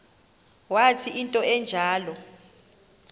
wathi into enjalo